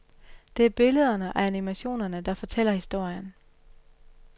Det er billederne og animationerne, der fortæller historien.